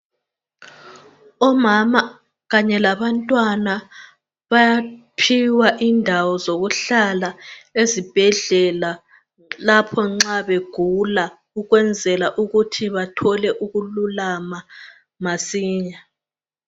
Omama kanye labantwana bayaphiwa indawo zokuhlala ezibhedlela lapho nxa begula ukwenzela ukuthi bathole ukululama masinya.